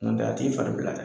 Nɔntɛ a t'i fari bila dɛ.